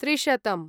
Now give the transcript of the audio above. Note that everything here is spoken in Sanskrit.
त्रिशतम्